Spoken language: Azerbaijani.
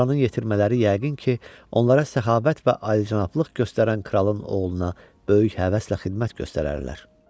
Buranın yetirmələri yəqin ki, onlara səxavət və alicənablıq göstərən kralın oğluna böyük həvəslə xidmət göstərərlər.